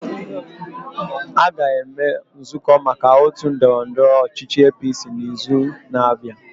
A ga-eme nzụkọ maka otu ndọrọndọrọ ọchịchị APC n'izu na-abịa.